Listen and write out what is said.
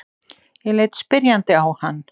Ég leit spyrjandi á hann.